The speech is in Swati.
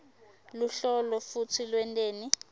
luhlolo futsi lwenteni